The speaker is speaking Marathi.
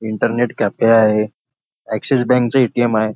इंटरनेट कॅफे आहे ॲक्सिस बँके चे ए.टी.एम. आहे.